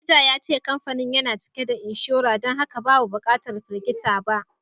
Manaja ya ce kamfanin yana cike da inshora don haka babu bukatar firgita ba